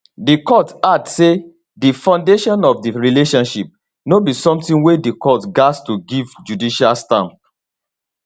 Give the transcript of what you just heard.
di court add say di foundation of di relationship no be sometin wey di court gatz to give judicial stamp